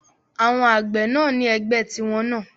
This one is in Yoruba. Àwọn àgbẹ̀ náà ni ẹgbẹ́ tí wọ́n náà